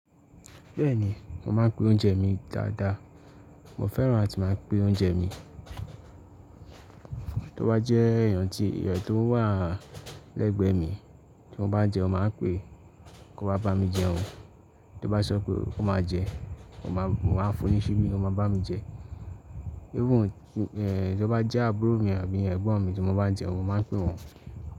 Bẹ́ẹ̀ni, mo máa ń pín oúnjẹ mi dáadáa. Mo fẹ́ràn áti máa pín oúnjẹ mi. Tó bá jẹ́ èèyàn tí, èèyàn tó wà lẹ́gbẹ̀ẹ́ mi tí mo bá jẹun, màá pé, "kọ wà bá mi jẹun." Tó bá sọ pé, "ó máa jẹ", mo máa fún un ni sibí o máa bá mi jẹ. Even tí ó bá jẹ́ àbúrò mi àbí ẹ̀gbọ́n mi tí mo bá jẹun, mo máa pe wọn.